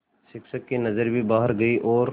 शिक्षक की नज़र भी बाहर गई और